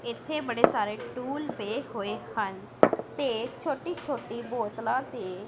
ਇੱਥੇ ਬੜੇ ਸਾਰੇ ਟੂਲ ਪਏ ਹੋਏ ਹਨ ਤੇ ਛੋਟੀ ਛੋਟੀ ਬੋਤਲਾਂ ਤੇ--